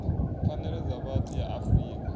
pfanelo dza vhathu ya afrika